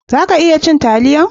Za ka iya cin taliyar?